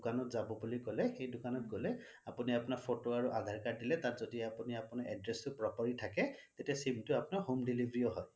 দোকানত যাব বুলি কলে সেই দোকানত গলে আপুনি photo আৰু আধাৰ card দিলে তাত যদি আপুনি আপোনাৰ address টো properly থাকে তেতিয়া আপোনাৰ sim টো home deliveryয়ো হয়